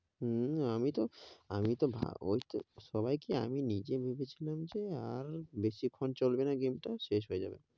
হূ, আমি তো, আমি তো ভা~, ওই সবাই কি আমি নিজে ভেবে ছিলাম যে আর বেশি খন কবে না game টা, শেষ হয়ে যাবে,